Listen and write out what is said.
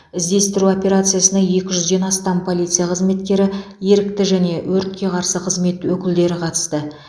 іздестіру операциясына екі жүзден астам полиция қызметкері ерікті және өртке қарсы қызмет өкілдері қатысты